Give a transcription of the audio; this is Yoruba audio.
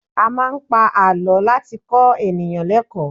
A máa ń pa àlọ́ láti kọ́ ènìyàn lékọ̀ọ́.